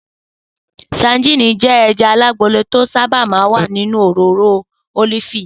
Sadíìnì jé̩ e̩ja alágolo tí ó sábà máa ń wà nínú òróró ólífì